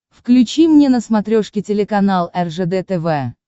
включи мне на смотрешке телеканал ржд тв